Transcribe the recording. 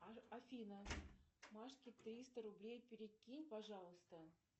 афина машке триста рублей перекинь пожалуйста